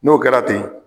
N'o kɛra ten